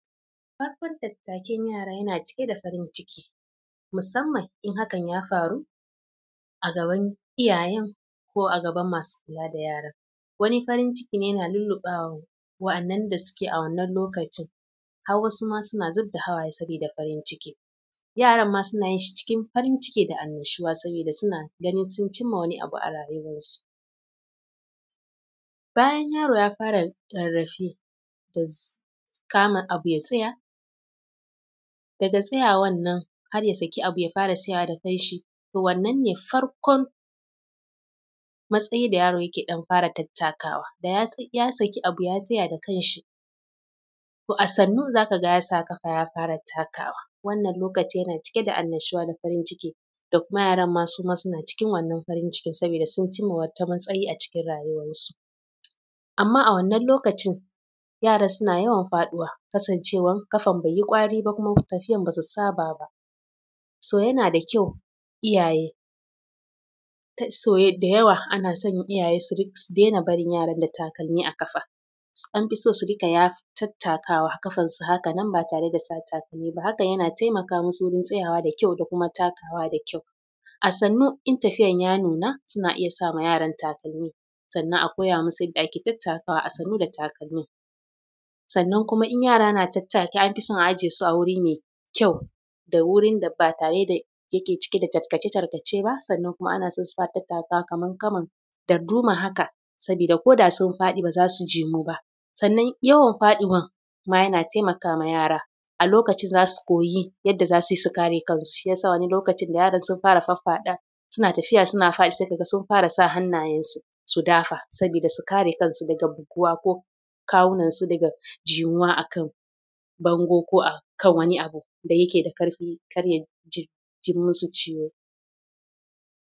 Farkon tattakin yara yana cike da farin ciki musamman in hakan ya faru a gaban iyayen ko masu kula da yaran, in hakan ya faru wani farin ciki yana lulluɓe waɗannan da suke a wannan lokacin har wasu suna zubda hawaye: saboda farin ciki, yaran ma suna cikin farin ciki da annnashuwa saboda suna ganin sun cimma wani abu a rayuwarsu. Bayan yaro ya fara rarrabe da kama abu ya tsaya, daga tsayawan nan har ya fara tsayawa da kanshi to wannan ne farkon matsayin da yaro yake fara tattakawa daga nan zai tsaya da kan shi. To a. Sannu za ka ga ya sa ƙafa ya fara takawa. Wannan lokaci yana cike da annashuwa da farin ciki da kuma yaran masu ma suna cikin farin ciki saboda su kai wata matsayi a cikin rayuwarsu. Amma a wannan lokacin yara suna yawan faɗuwa kasancewar ƙafar bai yi ƙwari ba kuma tafiya ba su saba ba. So yana ƙyau iyaye da yawa ana son iyaye su daina barin yara da takalmi a ƙafa an fi so su riƙa tattakawa hakan nan ba tare da takalmi ba, an fi so a hakan yana taimakawa wajen tsayawa da ƙyau da kuma takawa da ƙyau. A sannu in tafiyar ta nuna suna iya sa ma yara takalmi sannan a koya musu yadda ake tattakawa a sannu da takalma. Sannan kuma in yara na tattaki an fi son a ajiye su a wuri mai ƙyau da wurin da ba tare da ke cike da tarkace-tarkace ba, sannan kuma ana son suna tattakawa kamar saman darduma haka, saboda ko da sun faɗi ba za suji ciwo ba. Sannan yawan faɗiwan ma yana taimakawa yara a lokacin za su koyi yadda za su yi su kare kansu. Shi ya sa wani lokacin da yaron sun fara faffadawa suna tafiya suna faɗi sai ka ga sun fara sa hannayensu su dafa Saboda du kate kan su daga buguwa ko kawunansu faga buguwa daga bango ko a kan wani abu da yake da kaifi har ya ji musu ciwo.